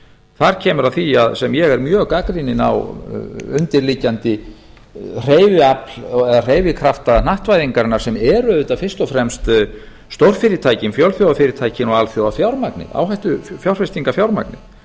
þar kemur að því sem ég er mjög gagnrýninn á undirliggjandi hreyfiafl eða hreyfikrafta hnattvæðingarinnar sem er auðvitað fyrst og fremst stórfyrirtækin fjölþjóðafyrirtækin og alþjóðafjármagnið áhættufjárfestingarfjármagnið sem